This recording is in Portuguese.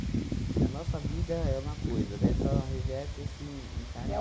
Porque a nossa vida é uma coisa, né, só reverte assim em